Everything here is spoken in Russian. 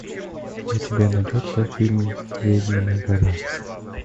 у тебя найдется фильм ведьмина гора